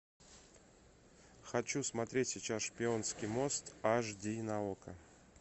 хочу смотреть сейчас шпионский мост аш ди на окко